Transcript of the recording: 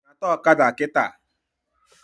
Nyata ọkada kịta!